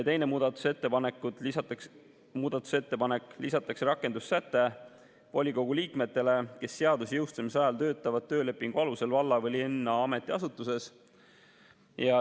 Teises muudatusettepanekus lisatakse rakendussäte volikogu liikmete kohta, kes seaduse jõustumise ajal töötavad töölepingu alusel valla või linna ametiasutuses.